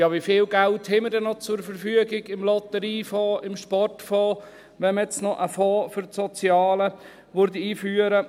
Ja, wie viel Geld haben wir denn noch zur Verfügung im Lotteriefonds, im Sportfonds, wenn wir jetzt noch einen Fonds für das Soziale einführen?